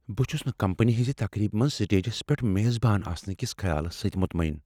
بہٕ چھس نہٕ کمپنی ہنٛزِ تقریبِہ منٛز سٹیجس پیٹھ میزبان آسنہٕ کِس خیالس سۭتۍ مطمعن۔